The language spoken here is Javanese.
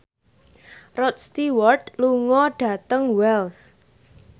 Rod Stewart lunga dhateng Wells